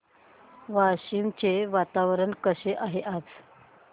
वाशिम चे वातावरण कसे आहे आज